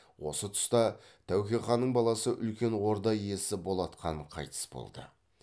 осы тұста тәуке ханның баласы үлкен орда иесі болат хан қайтыс болды